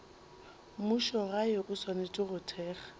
mmušogae o swanetše go thekga